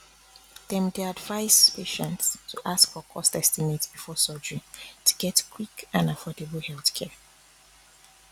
dem dey advise patients to ask for cost estimate before surgery to get quick and affordable healthcare